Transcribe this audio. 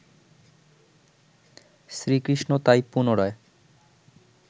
শ্রীকৃষ্ণ তাই পুনরায়